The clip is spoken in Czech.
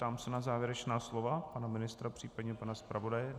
Ptám se na závěrečná slova pana ministra, případně pana zpravodaje.